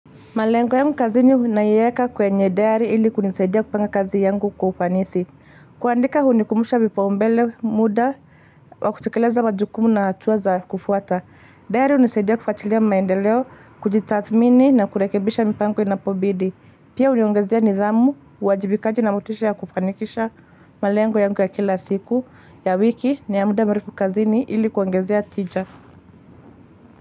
Malengo yangu kazini huwa naiweka kwenye diary ili kunisidia kupanga kazi yangu kwa ufanisi. Kuandika hunikumbusha vipaumbele muda wa kutekeleza majukumu na hatua za kufuata. Diary hunisidia kufuatilia maendeleo, kujitathmini na kurekebisha mipango inapobidi. Pia huniongezea nidhamu, uwajibikaji na motisha ya kufanikisha malengo yangu ya kila siku ya wiki na ya muda mrefu kazini ili kuongezea tija.